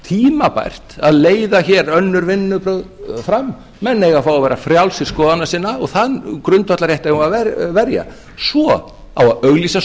tímabært að leiða hér önnur vinnubrögð fram menn eiga að fá að vera frjálsir skoðana sinna og þann grundvallarrétt eigum við að verja svo á að auglýsa